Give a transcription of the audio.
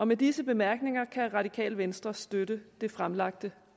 med disse bemærkninger kan radikale venstre støtte det fremsatte